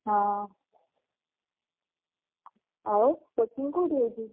ହଁ ଆଉ coaching କୋଉଠି ହଉଚି?